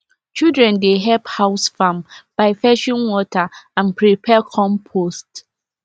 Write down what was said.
children dey help house farm by fetching water and prepare compost